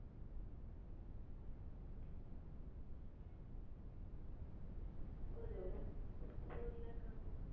ஒரு four lakh ஆகும்.